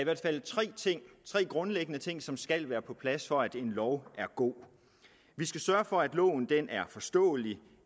tre grundlæggende ting som skal være på plads for at en lov er god vi skal sørge for at loven er forståelig